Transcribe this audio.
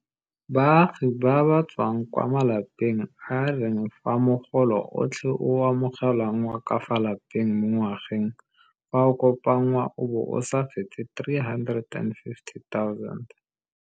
Baagi ba ba tswang kwa malapeng a e reng fa mogolo otlhe o o amogelwang wa ka fa lapeng mo ngwageng fa o kopanngwa o bo o sa fete R350 000.